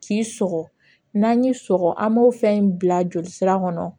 K'i sɔgɔ n'an y'i sɔgɔ an b'o fɛn in bila jolisira kɔnɔ